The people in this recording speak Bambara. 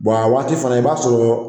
a waati fana i b'a sɔrɔ